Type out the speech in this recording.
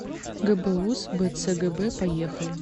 гбуз бцгб поехали